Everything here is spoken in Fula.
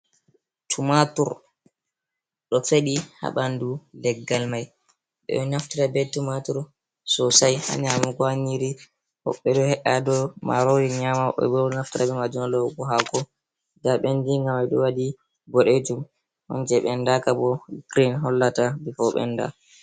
Tumaatur ɗo feɗi haa ɓandu leggal mai. Ɓe ɗo naftira be tumaatur sosai haa nyamugo haa nyiiri, woɓɓe ɗo he’a do maarori nyama, woɓɓe bo ɗo naftira haa lowugo haako. Nda ɓenndiga mai ɗo waɗi boɗeejum on, je ɓendaaka bo girin hollata bifo ɓenda.